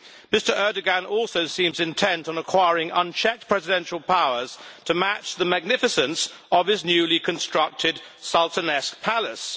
Mr Erdoğan also seems intent on acquiring unchecked presidential powers to match the magnificence of his newly constructed, sultanesque palace.